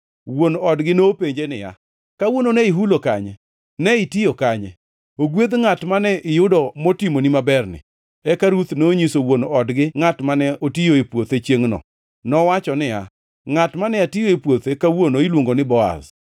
Wuon odgi nopenje niya, “Kawuono ne ihulo kanye? Ne itiyo kanye? Ogwedh ngʼat mane iyudo motimoni maberni!” Eka Ruth nonyiso wuon odgi kuom ngʼat mane otiyo e puothe chiengʼno. Nowacho niya, “Ngʼat mane atiyo e puothe kawono iluongo ni Boaz.”